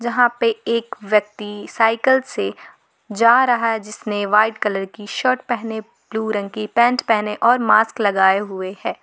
यहां पे एक व्यक्ति साइकल से जा रहा है जिसने व्हाइट कलर की शर्ट पहने ब्लू रंग की पैंट पहने और मास्क लगाए हुए हैं।